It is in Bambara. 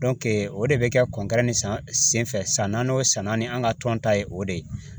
o de bɛ kɛ san senfɛ san naaninan san naani an ka tɔn ta ye o de ye